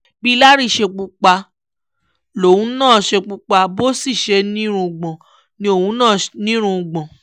bí larry ṣe pupa lòun náà pupa bó sì ṣe nírùngbọ̀n ni òun náà nírùngbọ̀n